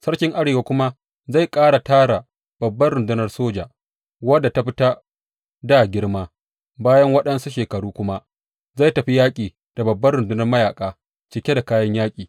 Sarki Arewa kuma zai ƙara tara babbar rundunar soja, wadda ta fi ta dā girma; bayan waɗansu shekaru kuma, zai tafi yaƙi da babbar rundunar mayaƙa cike da kayan yaƙi.